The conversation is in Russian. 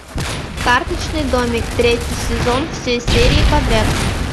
карточный домик третий сезон все серии подряд